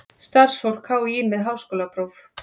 Starfsfólk HÍ með háskólapróf.